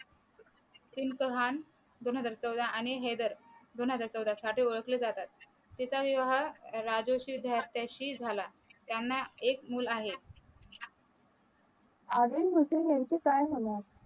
आदिल कहाण दोन हजार चौदा आणि हेदर दोन हजार चौदा साठी ओळखले जातात तिचा विवाह राजेश्री झालटेशी झाला त्यांना एक मूल आहे आदिल हुसेन याच काय झाले